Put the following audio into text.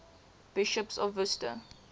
bishops of worcester